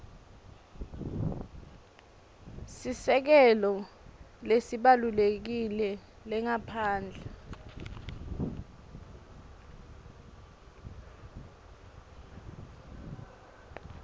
sisekelo lesibalulekile lengaphandle